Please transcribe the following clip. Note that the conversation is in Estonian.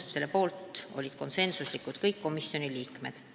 Selle poolt olid konsensusega kõik komisjoni liikmed.